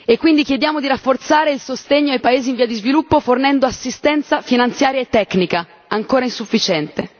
Quindi chiediamo di rafforzare il sostegno ai paesi in via di sviluppo, fornendo assistenza finanziaria e tecnica, ancora insufficiente.